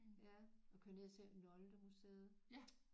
Ja og køre ned og se Noldemuseet